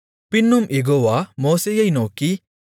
பின்னும் யெகோவா மோசேயை நோக்கி